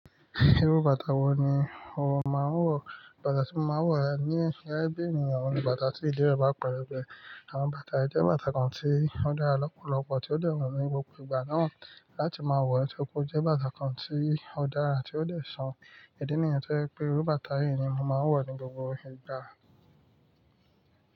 Irú bàtà wo ni o máa ń wọ̀? Bàtà tí mo máa ń wọ̀ ní gẹ́gẹ́ bí ènìyàn ni bàtà tí ìdí rẹ̀ bá pẹlẹbẹ Àwọn bàtà yíí jẹ́ bàtà kan tí ó dára lọ́pọ̀lọpọ̀, tí ó dẹ̀ wù mí ní gbogbo ìgbà náà láti máa wọ̀. So, kó jẹ́ bàtà kan tí ó dára, tí ó lè ṣàn. Ìdí nìyẹn tí ó jẹ́ pé irú bàtà yìí ni mo máa ń wọ̀ ní gbogbo ìgbà.